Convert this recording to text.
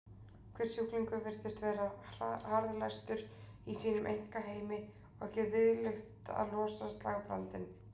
Hver sjúklingur virtist vera harðlæstur í sínum einkaheimi og ekki viðlit að losa slagbrandinn.